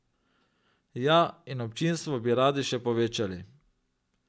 Ja, in občinstvo bi radi še povečali.